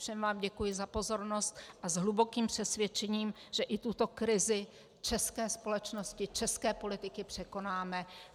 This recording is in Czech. Všem vám děkuji za pozornost a s hlubokým přesvědčením, že i tuto krizi české společnosti, české politiky překonáme.